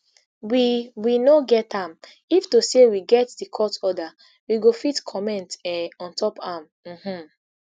we we no get am if to say we get di court order we go fit comment um ontop am um